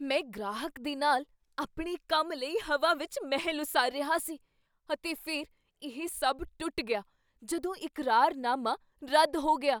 ਮੈਂ ਗ੍ਰਾਹਕ ਦੇ ਨਾਲ ਆਪਣੇ ਕੰਮ ਲਈ ਹਵਾ ਵਿੱਚ ਮਹਿਲ ਉਸਾਰ ਰਿਹਾ ਸੀ ਅਤੇ ਫਿਰ ਇਹ ਸਭ ਟੁੱਟ ਗਿਆ ਜਦੋਂ ਇਕਰਾਰਨਾਮਾ ਰੱਦ ਹੋ ਗਿਆ।